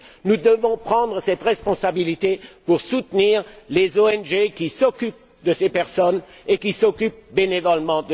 Nous devons prendre cette responsabilité pour soutenir les ONG qui s'occupent de ces personnes, et ce bénévolement.